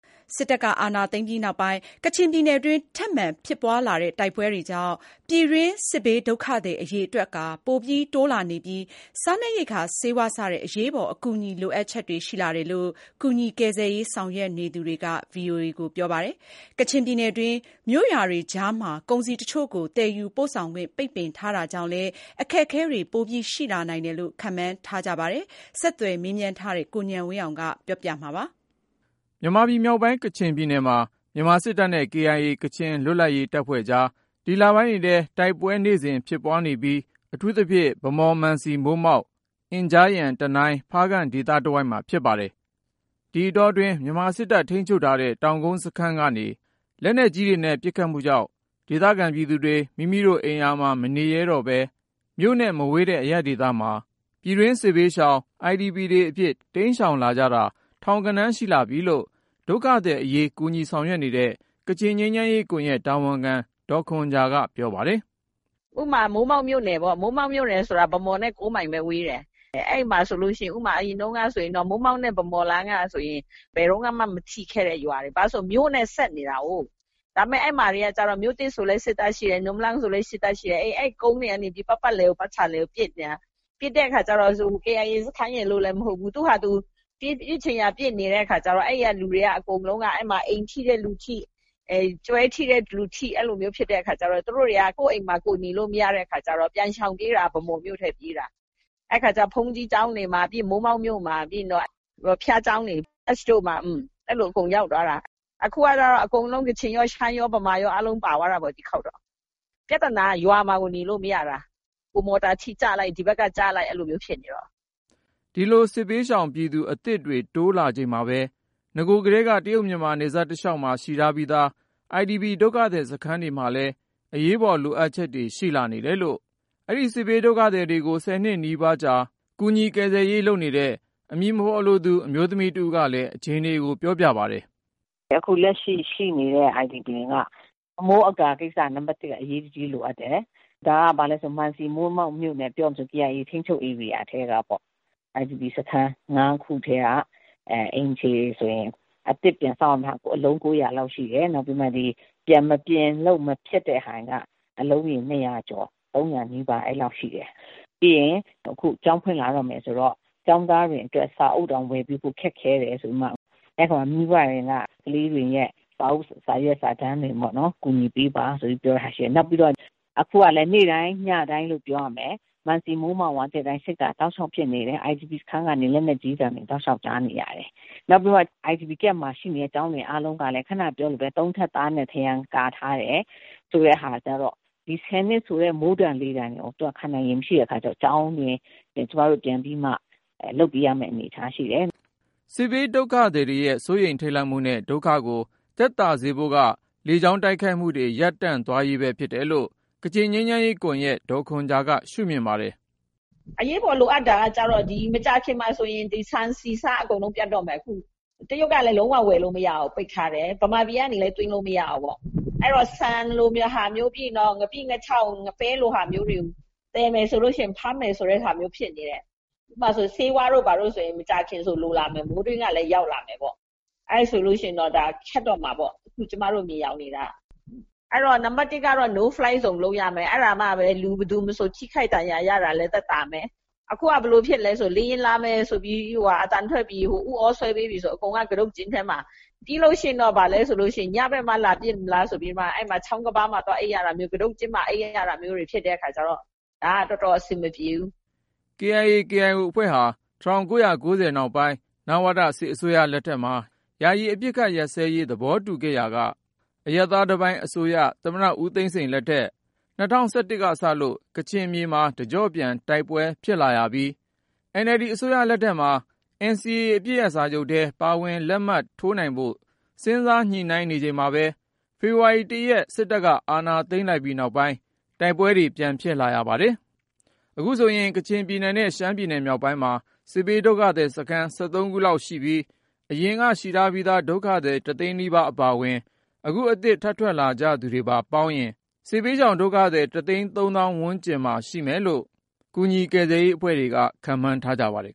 စစ်တပ်က အာဏာသိမ်းလိုက်ပြီးနောက်ပိုင်း ကချင်ပြည်နယ်တွင်း ထပ်မံဖြစ်ပွားလာတဲ့ တိုက်ပွဲတွေကြောင့် ပြည်တွင်းစစ်ရှောင်ဒုက္ခသည် အရေအတွက် ပိုတိုးလာနေပြီး၊ စားနပ်ရိက္ခာ ဆေးဝါး စတဲ့ အရေးပေါ် အကူအညီ လိုအပ်ချက်တွေ ရှိလာတယ်လို့ ကူညီကယ်ဆယ်ရေး ဆောင်ရွက်နေသူတွေက ပြောပါတယ်။ ကချင်ပြည်နယ်တွင်း မြို့ရွာတွေကြားမှာ ကုန်စည်တချို့ကို သယ်ယူ ပို့ဆောင်ခွင့် ပိတ်ပင်ထားတာကြောင့်လည်း အခက်အခဲတွေ ပိုရှိလာနိုင်တယ်လို့ ခန့်မှန်းထားကြတာပါ။ ဆက်သွယ်မေးမြန်းထားတဲ့ ကိုဉာဏ်ဝင်းအောင်က ဒီအကြောင်းကို တင်ပြပါမယ်။ မြန်မာပြည်မြောက်ပိုင်း ကချင်ပြည်နယ်မှာ မြန်မာစစ်တပ်နဲ့ KIA ကချင်လွတ်လပ်ရေးတပ်ဖွဲ့ကြား ဒီလပိုင်းတွေအတွင်း တိုက်ပွဲတွေ နေ့စဉ်နီးပါး ဖြစ်နေပြီး အထူးသဖြင့် ဗန်းမော် ၊ မန်စီ ၊ မိုးမောက် ၊ အင်ဂျားယမ် ၊ တနိုင်း၊ ဖားကန့် ဒေသတဝိုက်မှာ ဖြစ်ပါတယ်။ ဒီအတောတွင်း မြန်မာစစ်တပ် ထိန်းချုပ်ထားတဲ့ တောင်ကုန်းစခန်းကနေ လက်နက်ကြီးနဲ့ ပစ်ခတ်မှုရော ၊ လေကြောင်းတိုက်ခိုက်မှုတွေ ရှိလာတာကြောင့်ပါ ဒေသခံပြည်သူတွေ မိမိတို့အိမ်ယာမှာ မနေရဲတော့ပဲ မြို့နဲ့ မဝေးတဲ့ အရပ်ဒေသကိုပြည်တွင်းစစ်ဘေးရှောင် IDP တွေအဖြစ် တိမ်းရှောင်လာကြတာ ထောင်ဂဏန်းရှိလာပြီလို့ ဒုက္ခသည်အရေး ကူညီဆောင်ရွက်နေတဲ့ ကချင်ငြိမ်းချမ်းရေး ကွန်ယက်တာဝန်ခံ ဒေါ်ခွန်ဂျာက ပြောပါတယ်။ “ဥပမာ မိုးမောက်မြို့နယ်ပေါ့ ၊ မိုးမောက်မြို့နယ်ဆိုတာ ဗန်းမော်နဲ့ ၉ မိုင်ပဲ ဝေးတယ်။ အဲဒီမှာဆိုရင် အရင်တုန်းကဆိုရင် မိုးမောက်နဲ့ ဗန်းမော်လမ်းက ဘယ်တုန်းကမှ မထိခဲ့တဲ့ ရွာတွေ ဘာဖြစ်လို့လဲဆိုတော့ မြို့နဲ့ ဆက်နေတာကို ဒါပေမယ့် အဲဒီနေရာတွေမှာတော့ မြို့သစ်ဆိုလည်း စစ်တပ်ရှိတယ်။ နွမ်လမ်းဆိုလည်း စစ်တပ်ရှိတယ်။ အဲဒီကုန်းတွေကနေ ပတ်ပတ်လည် ကို ပစ်နေတာ။ ပစ်တဲ့အခါကျတော့ KIA စခန်းရယ်လို့လဲမဟုတ်ဘူး ၊ သူ့ဟာသူ ပစ်ချင်ရာ ပစ်နေတဲ့အခါကျတော့ အဲဒီလူတွေအကုန်လုံးက အိမ်ထိတဲ့လူထိ ၊ ကျွဲထိတဲ့လူထိ အဲဒီအခါကျတော့ သူတို့တွေက ကိုယ့်အိမ်မှာကိုယ် နေလို့မရတဲ့အခါကျတော့ ပြန်ရှောင်ပြေးတာက ဗန်းမော်မြို့ထဲပြေးတာ ၊ အဲဒီအခါကျတော့ ဘုန်းကြီးကျောင်းတွေမှာ မိုးမောက်မြို့မှာ ၊ ပြီးရင်တော့ ဘုရားကျောင်းတွေ Church တို့မှာ အဲလိုအကုန်ရောက်သွားတာ ။ အခုကတော့ အကုန်လုံး ကချင်ရော၊ ရှမ်းရော ၊ ဗမာရောပါသွားတာပေါ့ အားလုံး ဒီတခေါက်တော့။ ပြဿနာက ရွာမှာကို နေလို့မရတာ။ ဟိုမော်တာထိ ကျလိုက်၊ ဒီဘက်က ကျလိုက် အဲလိုမျိုး ဖြစ်နေတော့။” ဒီလို စစ်ဘေးရှောင်ပြည်သူ အသစ်တွေ တိုးလာချိန်မှာပဲ နဂိုကတည်းက တရုတ်-မြန်မာနယ်စပ် တလျောက်မှာ ရှိထားပြီးသား IDP ဒုက္ခသည် စခန်းတွေမှာလည်း အရေးပေါ် လိုအပ်ချက်တွေ ရှိလာနေတယ်လို့ အဲဒီစစ်ဘေးဒုက္ခသည်တွေကို ဆယ်နှစ်ကျော်ကြာ ကူညီကယ်ဆယ်ရေး လုပ်နေတဲ့ အမည်မဖေါ်လိုသူ အမျိုးသမီးတဦးကလည်း အခြေအနေကို ပြောပြပါတယ်။ “အခုလက်ရှိ ရှိနေတဲ့ IDP က အမိုးအကာ ကိစ္စက နံပတ် ၁ အရေးတကြီးလိုအပ်တယ်၊ ဒါက ဘာလဲဆိုရင် မန်စီ ၊ မိုးမောက်မြို့နယ် ပြောမယ်ဆိုရင် KIA ထိန်းချုပ်ဧရိယာထဲကပေါ့ IDP စခန်း ၅ ခုထဲက အိမ်ခြေတွေဆိုရင် အသစ်ပြန်ဆောက်ရမှာက အလုံး ၉၀၀ လောက်ရှိတယ်။ နောက်ပြီးတော့ ပြန်မပြင်လို့ မဖြစ်တဲ့ဟာက အလုံးရေ ၂၀၀ ကျော် -၃၀၀ နီးပါးရှိတယ်။ ပြီးရင် အခု ကျောင်းဖွင့်လာတော့မယ်ဆိုတော့ ကျောင်းသားတွေအတွက် စာအုပ်တောင်ဝယ်ဖို့ ခက်ခဲတယ်ဆိုတော့ အဲဒီအပေါ်မှာ မိဘတွေက ကလေးတွေရဲ့ စာအုပ်စာတမ်းတွေမှာ ကူညီပေးပါဆိုပြီးတော့ ပြောတာရှိတယ်။ နောက်ပြီးတော့ အခုကလည်း နေ့တိုင်း ညတိုင်းလို့ ပြောရမယ် မန်စီ၊ မိုးမောက်မှာ စစ်ဖြစ်တာ တောက်လျောက်ဖြစ်နေတယ်။ IDP စခန်း ကနေ လက်နက်ကြီးသံတွေ တောက်လောက်ကြားနေရတယ်။ နောက်ပြီးတော့ IDP စခန်းမှာရှိနေတဲ့ ကျောင်းတွေအားလုံးကလည်း ၃ ထပ်သားနဲ့ ထရံကာထားတယ် ဆိုတဲ့အခါကျတော့ ၁၀ နှစ်ဆိုတဲ့ မိုးဒဏ်လေဒဏ် ခံနိုင်ရေမရှိတဲ့အခါကျတော့ ကျောင်းတွေကို ကျမတို့ ပြန်ပြီးမှ လုပ်ပေးရမယ့် အနေအထားရှိတယ်။” စစ်ဘေးဒုက္ခသည်တွေရဲ့ စိုးရိမ်ထိန့်လန့်မှုနဲ့ ဒုက္ခကို သက်သာစေဖို့က လေကြောင်းတိုက်ခိုက်မှုတွေ ရပ်တန့်သွားရေးပဲ ဖြစ်တယ်လို့ ကချင်ငြိမ်းချမ်းရေးကွန်ယက် ဒေါ်ခွန်ဂျာက ရှုမြင်ပါတယ်။ “အရေးပေါ်လိုအပ်တာကတော့ မကြာခင်မှာဆိုရင် ဒီဆန်ဆီဆား အကုန်လုံး ပြတ်တော့မယ် ။ အခုတရုတ်ကလည်း လုံး၀ ဝယ်လို့မရဘူး ပိတ်ထားတယ်၊ မြန်မာပြည်ကနေလည်း သွင်းလို့မရဘူး။ အဲဒီတော့ ဆန်လိုဟာမျိုး ပြီးရင် ငါးပိ ၊ ငါးခြောက် ပဲလိုဟာမျိုးတွေ သယ်မယ်ဆိုရင် ဖမ်းမယ် ဆိုတာမျိုး ဖြစ်နေတယ်။ ဥပမာဆိုရင် ဆေးဝါးတို့ ဘာတို့ဆိုရင် မကြာခင်မှာ လိုလာမယ် ၊ မိုးတွင်းကလည်း ရောက်လာမယ်ပေါ့ အဲဒါဆိုရင် ဒါခက်ခဲတော့မှာပေါ့ ကျမတို့ မြင်ယောင်နေတာက။ အဲဒီတော့ နံပတ် ၁ ကတော့ No Fly Zone လုပ်ရမယ် အဲဒါမှပဲ ဘယ်သူမဆို ထိခိုက်ဒဏ်ရာရတာလည်း သက်သာမယ် အခုက ဘယ်လိုဖြစ်သလဲဆိုတော့ လေယာဉ်လာမယ်ဆိုပြီးတော့ အသံလာပြီ ဥသြဆွဲပြီးပြီဆိုရင် အကုန်လုံးက ကတုတ်ကျင်းထဲမှာ။ ပြီးရင် ဘာလဲဆိုတော့ ညဘက်မှ လာပစ်မလားဆိုပြီးတော့ ချောင်းကမ်းပါးမှာ သွားအိပ်ရတာမျိုး ကတုတ်ကျင်းထဲမှာ အိပ်ရတာမျိုး ဖြစ်တဲ့အခါကျတော့ ဒါက တော်တော်အဆင်မပြေဘူး။” KIA/KIO အဖွဲ့ဟာ ၁၉၉၀ နောက်ပိုင်း နဝတ စစ်အစိုးရလက်ထက်မှာ ယာယီအပစ်ရပ် သဘောတူခဲ့ရာက အရပ်သားတပိုင်းအစိုးရ သမ္မတ ဦးသိန်းစိန်လက်ထက် ၂၀၁၁ ကစလို့ ကချင်မြေမှာ တကြော့ပြန် တိုက်ပွဲတွေ ဖြစ်လာပါတယ်။NLD အစိုးရလက်ထက်မှာ NCA အပစ်ရပ်စာချုပ်ထဲ ပါဝင် လက်မှတ်ထိုးနိုင်ဖို့ စဉ်းစား ညှိနှိုင်းနေချိန်မှာပဲ ၊ ဖေဖေါ်ဝါရီလ ရက် စစ်တပ်က အာဏာသိမ်းလိုက်ပြီးနောက်ပိုင်း ကချင်ဒေသမှာ တိုက်ပွဲတွေ ပြန်ဖြစ်လာရပါတယ်။ အခုဆိုရင် ကချင်ပြည်နယ်နဲ့ ရှမ်းပြည်နယ်မြောက်ပိုင်း တရုတ်နယ်စပ်မှာ စစ်ဘေးဒုက္ခသည်စခန်း ခုလောက်ရှိပြီး အရင်က ရှိထားပြီးသား ဒုက္ခသည် သိန်းနီးပါးအပါအဝင် နောက်ထပ် အသစ်ထပ်ထွက်လာကြသူတွေပါ ပေါင်းရင် စစ်ဘေးရှောင်ဒုက္ခသည် သိန်း သောင်းဝန်းကျင်မှာ ရှိမယ်လို့ ကူညီကယ်ဆယ်ရေးအဖွဲ့တွေက ခန့်မှန်းထားပါတယ်